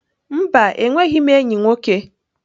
Mba, enweghị m enyi nwoke.